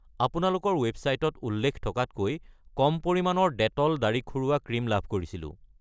আপোনালোকৰ ৱেবচাইটত উল্লেখ থকাতকৈ কম পৰিমানৰ ডেটল দাঢ়ি খুৰোৱা ক্ৰীম লাভ কৰিছিলোঁ।